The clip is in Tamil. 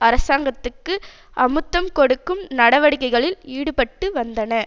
அரசாங்கத்துக்கு அமுத்தம் கொடுக்கும் நடவடிக்கைகளில் ஈடுபட்டு வந்தன